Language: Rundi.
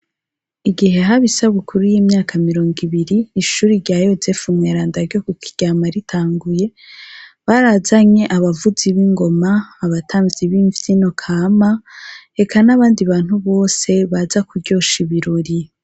Igihe haba isabukuru y'imyaka mirongo ibiri , ishure rya Yozefu Mweranda ryo ku Kiryama ritanguye, barazanye abavuzi b'ingoma, abatamvyi b'imvyino kama, eka n'abandi bantu bose baza kuryosha ibirori.